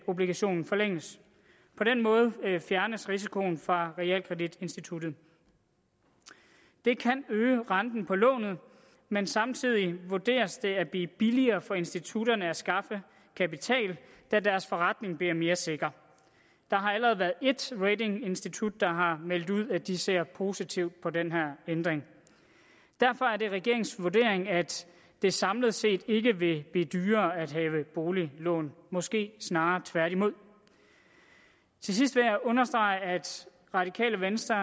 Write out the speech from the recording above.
obligationen forlænges på den måde fjernes risikoen fra realkreditinstituttet det kan øge renten på lånet men samtidig vurderes det at blive billigere for institutterne at skaffe kapital da deres forretning bliver mere sikker der har allerede været et ratinginstitut der har meldt ud at de ser positivt på den her ændring derfor er det regeringens vurdering at det samlet set ikke vil blive dyrere at have boliglån måske snarere tværtimod til sidst vil jeg understrege at radikale venstre